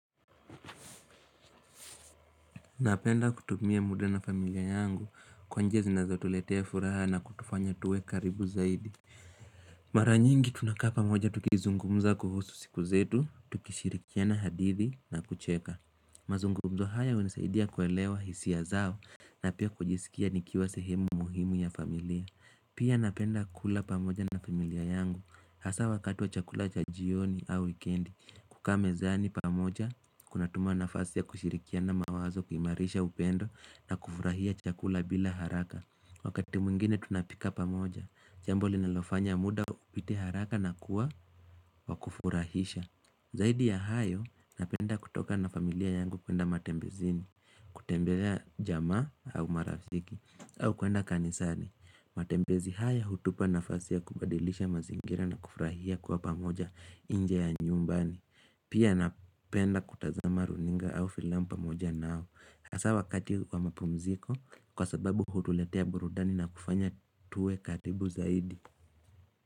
Napenda kutumia muda na familia yangu kwa njia zinazotuletea furaha na kutufanya tuwe karibu zaidi Mara nyingi tunakaa pamoja tukizungumza kuhusu siku zetu, tukishirikiana hadithi na kucheka mazungumzo haya hunisaidia kuelewa hisia zao na pia kujisikia nikiwa sehemu muhimu ya familia Pia napenda kula pamoja na familia yangu Hasa wakati wa chakula cha jioni au wikendi. Kukaa mezani pamoja Kunatuma nafasi ya kushirikiana mawazo kuimarisha upendo na kufurahia chakula bila haraka. Wakati mwingine tunapika pamoja Jambo linalofanya muda upite haraka na kuwa wakufurahisha Zaidi ya hayo napenda kutoka na familia yangu kuenda matembezini kutembelea jamaa au marafiki au kwenda kanisani. Matembezi haya utupa nafasi kubadilisha mazingira na kufurahia kwa pamoja nje ya nyumbani Pia napenda kutazama runinga au filamu pamoja nao. Hasa wakati wa mapumziko kwa sababu hutuletea burudani na kufanya tuwe karibu zaidi.